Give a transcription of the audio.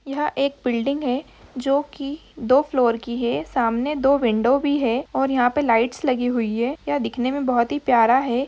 यह एक बिल्डिंग है जो कि दो फ्लोर की है। सामने दो विंडो भी है और यहाँ पे लाइट्स लगी हुई है। यह दिखने में बहुत ही प्यारा है।